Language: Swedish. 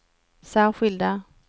särskilda